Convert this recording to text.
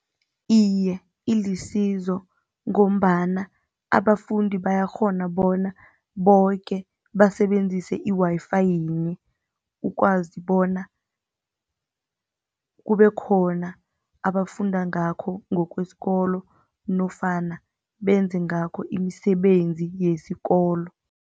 Iye, ilisizo ngombana abafundi bayakghona bona boke basebenzise i-Wi-Fi yinye ukwazi bona kubekhona abafunda ngakho ngokwesikolo nofana benze ngakho imisebenzi yesikolo.